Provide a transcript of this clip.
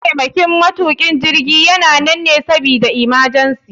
Mataimakin matukin jirgi yana nan ne sabida imajensi.